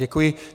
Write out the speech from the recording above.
Děkuji.